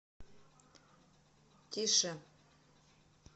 тише